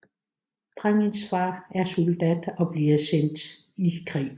Drengens far er soldat og bliver sendt i krig